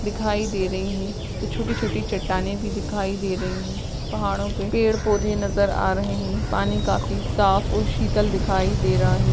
दिखाई दे रहीं हैं छोटी छोटी चट्टानें भी दिखाई दे रहीं है पहाड़ों पे पेड़ पौधे नजर आ रहे है पानी काफी साफ़ और शीतल दिखाई दे रहा है।